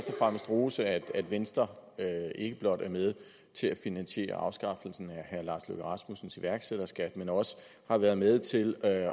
fremmest rose at venstre ikke blot er med til at finansiere afskaffelsen af herre lars løkke rasmussens iværksætterskat men også har været med til at